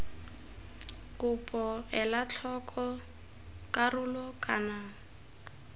kopo ela tlhoko karolo kana